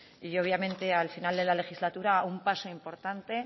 y obviamente al final de la legislatura un paso importante